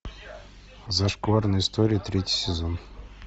зашкварные истории третий сезон